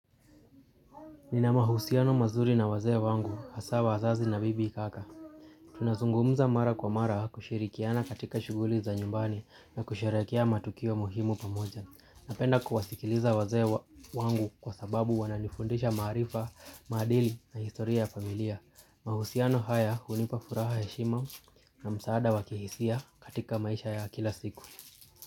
Nina mahusiano mazuri na wazee wangu, haswa wazazi na bibi kaka. Tunazungumza mara kwa mara kushirikiana katika shughuli za nyumbani na kusherehekea matukio muhimu pamoja. Napenda kuwasikiliza wazee wangu kwa sababu wananifundisha maarifa, maadili na historia ya familia. Mahusiano haya hunipa furaha heshima na msaada wakihisia katika maisha ya kila siku.